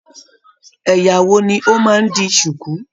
Ẹyà wo ni o máa n di sùkú?